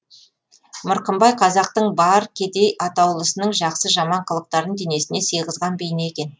мырқымбай қазақтың бар кедей атаулысының жақсы жаман қылықтарын денесіне сыйғызған бейне екен